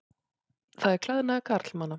Það er klæðnaður karlmanna.